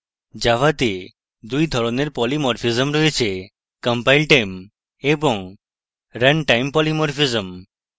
জাভাতে দুটি ধরনের polymorphism রয়েছে: compiletime এবং runtime polymorphism